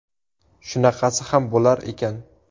Shunaqasi ham bo‘lar ekan.